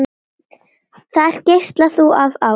Þar geislar þú af ást.